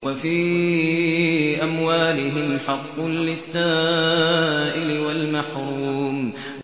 وَفِي أَمْوَالِهِمْ حَقٌّ لِّلسَّائِلِ وَالْمَحْرُومِ